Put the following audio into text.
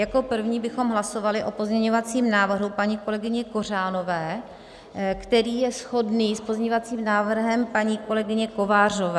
Jako první bychom hlasovali o pozměňovacím návrhu paní kolegyně Kořanové, který je shodný s pozměňovacím návrhem paní kolegyně Kovářové.